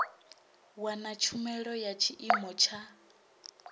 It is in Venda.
wana tshumelo ya tshiimo tsha